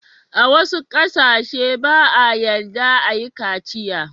A wassu kasance ba'a yarda a yi kaciya.